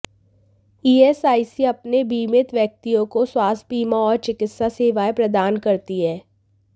ESIC अपने बीमित व्यक्तियों को स्वास्थ्य बीमा और चिकित्सा सेवाएं प्रदान करती है